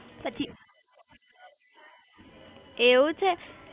પછી એવું છે